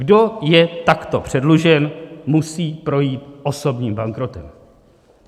Kdo je takto předlužen, musí projít osobním bankrotem.